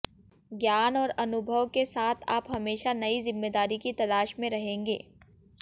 ज्ञान और अनुभव के साथ आप हमेशा नयी जिम्मेदारी की तलाश में रहेंगे